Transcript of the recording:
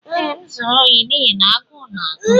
Ee, m zuru ohi n'ihi na agụụ na-agụ m.